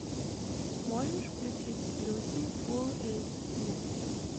можешь включить люси фулл эйч ди